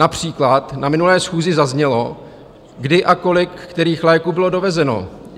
Například na minulé schůzi zaznělo, kdy a kolik kterých léků bylo dovezeno.